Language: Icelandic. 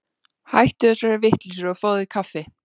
Hættu þessari vitleysu og fáðu þér kaffi.